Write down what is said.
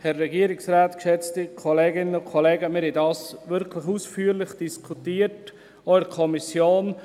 Wir haben dies wirklich ausführlich diskutiert, auch in der Kommission.